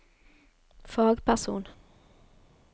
fagperson